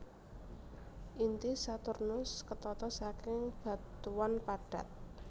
Inti Saturnus ketata saking batuan padat